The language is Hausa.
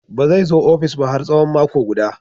Ba zai zo ofis ba har tsawon mako guda.